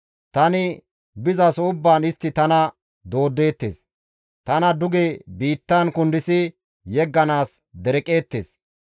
Tani bizaso ubbaan istti tana dooddeettes; tana duge biittan kundis yegganaas dereqeettes.